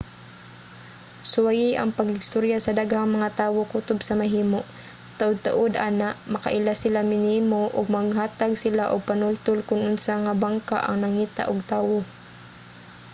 suwayi ang pakigstorya sa daghang mga tawo kutob sa mahimo. taud-taud ana makaila sila nimo ug maghatag sila og panultol kon unsa nga bangka ang nangita ug tawo